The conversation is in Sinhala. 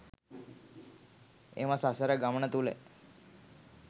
එම සසර ගමන තුළ